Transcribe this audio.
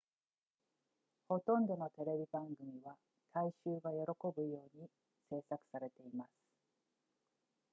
ほとんどのテレビ番組は大衆が喜ぶように製作されています